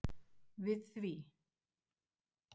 við því.